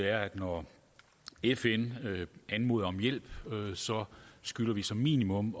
er at når fn anmoder om hjælp skylder vi som minimum